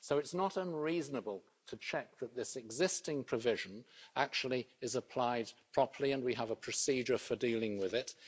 So it's not unreasonable to check that this existing provision is actually applied properly and that we have a procedure for dealing with it.